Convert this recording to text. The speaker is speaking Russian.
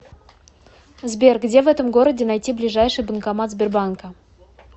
сбер где в этом городе найти ближайший банкомат сбербанка